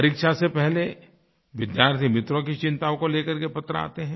परीक्षा से पहले विद्यार्थीमित्रों की चिन्ताओं को लेकर केपत्र आते हैं